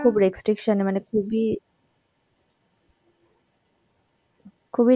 খুব restriction মানে খুবই, খুবই